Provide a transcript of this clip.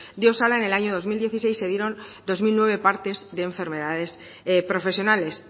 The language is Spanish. de osalan en el año dos mil dieciséis se dieron dos mil nueve partes de enfermedades profesionales